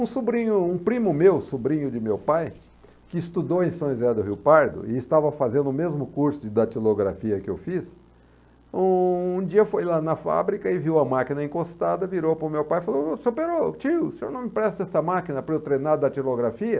Um sobrinho, um primo meu, sobrinho de meu pai, que estudou em São José do Rio Pardo e estava fazendo o mesmo curso de datilografia que eu fiz, um dia foi lá na fábrica e viu a máquina encostada, virou para o meu pai e falou, senhor, Perocco, tio, o senhor não me empresta essa máquina para eu treinar datilografia?